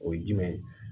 O ye jumɛn ye